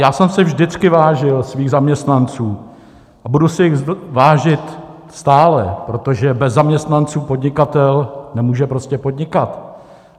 Já jsem si vždycky vážil svých zaměstnanců a budu si jich vážit stále, protože bez zaměstnanců podnikatel nemůže prostě podnikat.